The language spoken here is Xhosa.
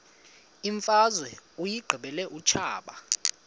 imfazwe uyiqibile utshaba